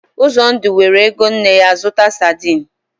Uzondu weere ego nne ya zụta sadin.